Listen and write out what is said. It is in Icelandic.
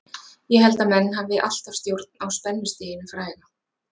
Ég held að menn hafi alltaf stjórn á spennustiginu fræga.